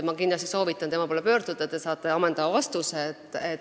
Ma kindlasti soovitan tema poole pöörduda, te saate ammendava vastuse.